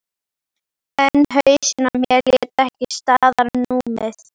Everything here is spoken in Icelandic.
En hausinn á mér lét ekki staðar numið.